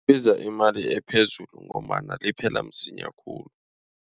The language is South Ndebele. Libiza imali ephezulu ngombana liphela msinya khulu.